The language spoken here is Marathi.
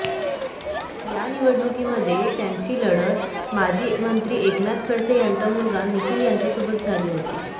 या निवडणुकीमध्ये त्यांची लढत माजी मंत्री एकनाथ खडसे यांचा मुलगा निखील यांच्यासोबत झाली होती